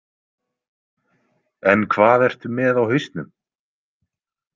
En hvað ertu með á hausnum?